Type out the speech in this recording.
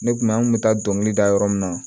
Ne kun an kun bɛ taa dɔnkili da yɔrɔ min na